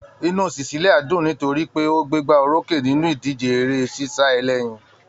Inú Cecilia dùn nítorí pé ó gbégbá orókè nínú ìdíje eré-sísá ẹlẹ́yin.